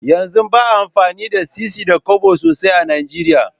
Yanzu baa amfani da sisi da Kobo sosai a nigeria